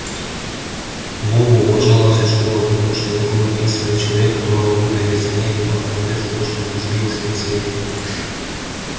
вову уважала вся школа потому что это был единственный человек которого выгнали с занятий по карате за то что он избил сенсея